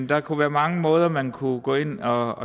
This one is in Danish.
der kunne være mange måder hvorpå man kunne gå ind og